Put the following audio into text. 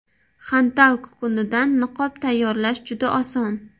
Xantal kukunidan niqob tayyorlash juda oson.